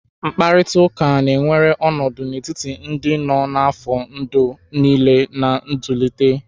Mkparịta ụka na-ewere ọnọdụ n'etiti ndị nọ n'afọ ndụ niile na nzụlite.